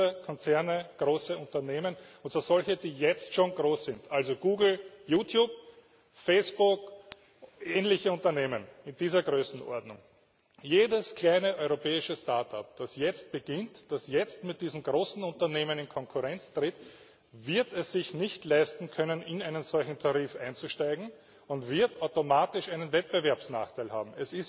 Große Konzerne, große Unternehmen und zwar solche, die jetzt schon groß sind, also Google, YouTube, Facebook, ähnliche Unternehmen in dieser Größenordnung. Jedes kleine europäisches Start up, das jetzt beginnt, das jetzt mit diesen großen Unternehmen in Konkurrenz tritt, wird es sich nicht leisten können, in einen solchen Tarif einzusteigen, und wird automatisch einen Wettbewerbsnachteil haben.